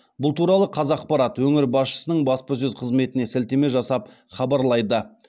бұл туралы қазақпарат өңір басшысының баспасөз қызметіне сілтеме жасап хабарлайды